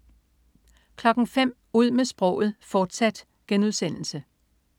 05.00 Ud med sproget, fortsat*